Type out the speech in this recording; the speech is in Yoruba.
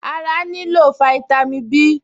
Ará nílò fáítámì Bí